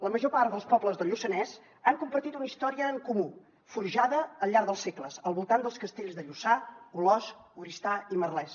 la major part dels pobles del lluçanès han compartit una història en comú forjada al llarg dels segles al voltant dels castells de lluçà olost oristà i merlès